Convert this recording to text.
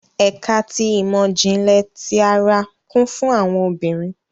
Ẹka ti imọ-jinlẹ ti àrà kún fún awọn obìnrin